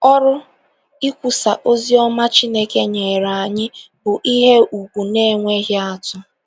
Ọrụ ikwusa ozi ọma Chineke nyere anyị bụ ihe ùgwù na - enweghị atụ.